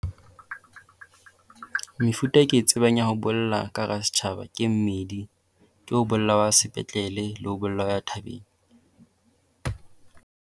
Mefuta e ke e tsebang ya ho bolla ka hara setjhaba ke e mmedi. Ke ho bolla hwa sepetlele le ho bolla ha thabeng.